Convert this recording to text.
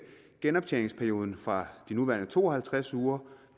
genoptjeningsperioden fra de nuværende to og halvtreds uger